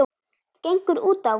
gengur útá?